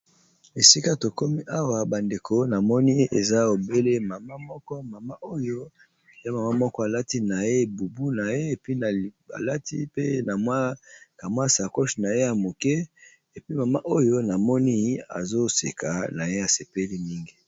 Esika tokomi awa ba ndeko namoni eza e obele mama moko mama oyo ya mama moko alati na ye bubu na ye epi alati pe na mwa ka mwa sacoche na ye ya muke epi mama oyo na moni azoseka na ye asepeli mingi.